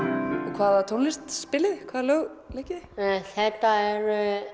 hvaða tónlist spilið þið hvaða lög leikið þið þetta eru